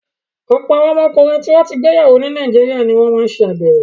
Ọ̀pọ̀ àwọn ọkùnrin tó ti gbéyàwó ní Nàìjíríà ni wọ́n ń ṣàgbèrè.